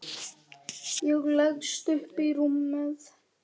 Ég leggst upp í rúmið.